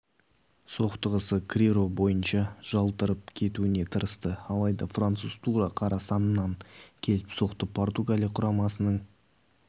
соқтығысты криро барынша жалтарып кетуге тырысты алайда француз тура қара саннан келіп соқты португалия құрамасының